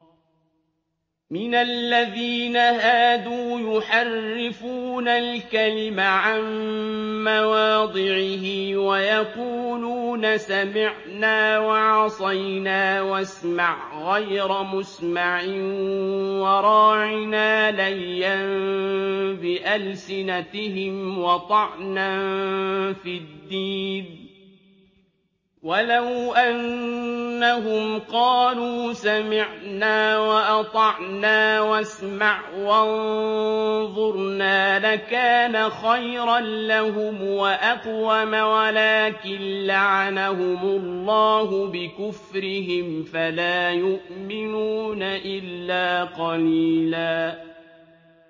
مِّنَ الَّذِينَ هَادُوا يُحَرِّفُونَ الْكَلِمَ عَن مَّوَاضِعِهِ وَيَقُولُونَ سَمِعْنَا وَعَصَيْنَا وَاسْمَعْ غَيْرَ مُسْمَعٍ وَرَاعِنَا لَيًّا بِأَلْسِنَتِهِمْ وَطَعْنًا فِي الدِّينِ ۚ وَلَوْ أَنَّهُمْ قَالُوا سَمِعْنَا وَأَطَعْنَا وَاسْمَعْ وَانظُرْنَا لَكَانَ خَيْرًا لَّهُمْ وَأَقْوَمَ وَلَٰكِن لَّعَنَهُمُ اللَّهُ بِكُفْرِهِمْ فَلَا يُؤْمِنُونَ إِلَّا قَلِيلًا